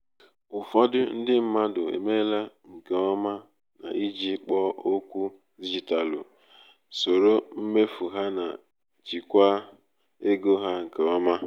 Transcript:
ụfọdụ um ndi mmadụ emeela nke ọma n’iji ikpo okwu dijitalụ soro mmefu ha na jikwaa um ego ha nke ọma.